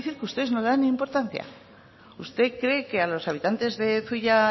quiero decir que ustedes no le dan importancia usted cree que a los habitantes de zuia